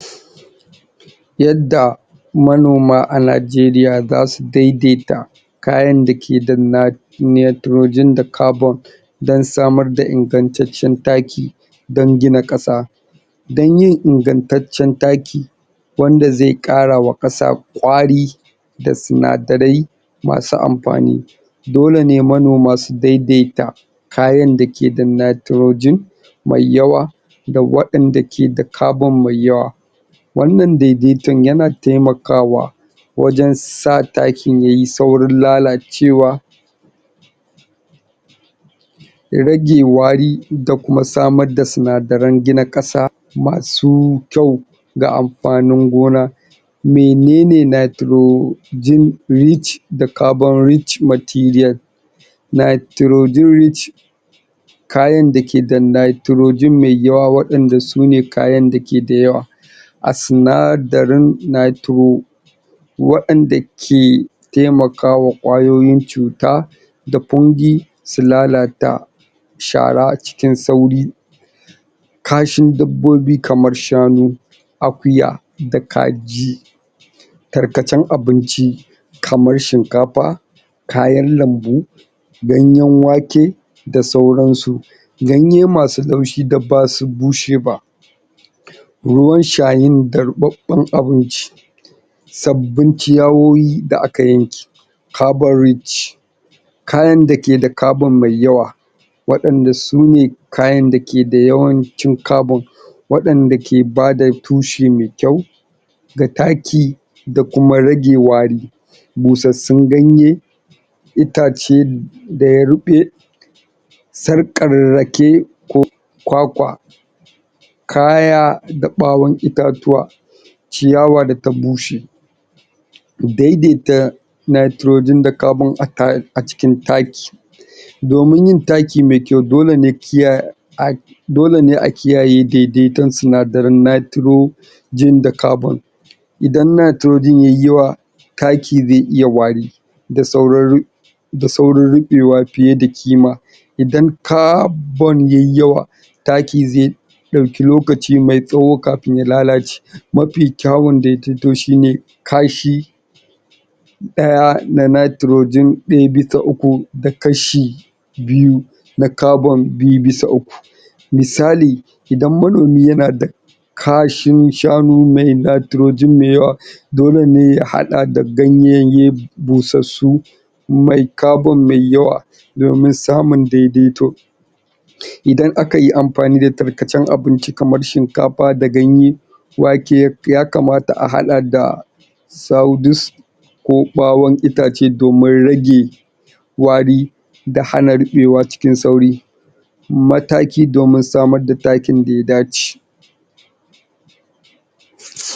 yadda manoma a nigeria zasu daidaita kayan dake nitrogrn da carbon dan samar da ingantaccen taki dan gina ƙasa dan yin ingantaccen taki wanda zai ƙarawa ƙasa kwari da sinadarai masu amfani dole ne manoma su daidaita kayan da yake da nitrogen mai yawa da wa 'yanda mai carbon dayawa wannan daidaitun yana taimakawa wajen sa takin yayi saurin lalacewa ya rage wari da kuma samar da sinadaran gina ƙasa masu kyau da amfanin gona menene nitro gen rich da carbon rich material nitrojiwic kayan dake da nitrogen mai yawa wa 'yanda su ne kayan dake da yawa a sinadarin nitro wa 'yanda ke taimakawa kwayoyin cuta da su lalata shara a cikin sauri kashin dabbobi kamar shanu akuya da kaji tarkacen abinci kamar shinkafa kayan lambu ganyen wanke da sauran su ganye masu laushi da basu bushe ba ruwan shayin da ruɓaɓen abinci sabbin ciyawoyi da aka yanke carbon rich kayan dake da carbon mai yawa wa danda sune kayan dake da yawan cin carbon wa danda ke bada tushe mai kyau da taki da kuma rage wari ƙosassun ganye itace da ya riɓe sarƙar rake ko kwakwa kaya da ɓawan itatuwa ciyawa da ta bushe daidaita nitrogen da carbon a cikin taki domin yin taki mai kyau dole mu kiya dole ne a kiyaye daidaitun sinadaran nitro gen da carbon idan nitrogen yayi yawa taki zai iya wari zai saurin ru zai saurin ri6e wa fiye da kima idan carbon yayi yawa taki zai dauki lokaci mai tsawo kafin ya lalace mafi kyawu da fito shine kashi daya na nitrogen zai ita uku na kashi biyu na carbon bisa uku misali idan manomi yana taf kashin shanu mai nitrogen mai yawa dole nemu hada ganye bushusshu mai carbon mai yawa domin samun daidaitu idan akayi amfani da tarkacen abinci kamar shinkafa da ganye wake ya kmata a hada da ko ɓawon itace domin rage wari da hana riɓe wa cikin sauri mataki domin samar da takin da ya dace